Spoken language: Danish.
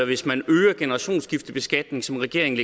hvis man øger generationsskiftebeskatningen som regeringen